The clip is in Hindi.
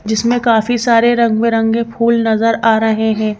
जिसमें काफी सारे रंग-बिरंगे फूल नजर आ रहे हैं।